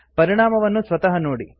ಪರಿಣಾಮವನ್ನು ಸ್ವತಃ ನೋಡಿ